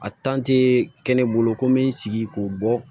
A kɛ ne bolo ko n bɛ n sigi k'o bɔ